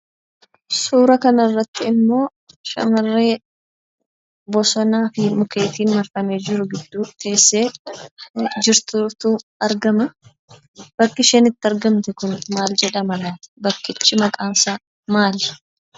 Suura kana irratti immoo, shamarree bosona fi mukkeetiin marfamee gidduu teessee jirtutu argamaa. Bakki isheen argamtu Kun maal jedhama? Bakkichi maqaan isaa maali?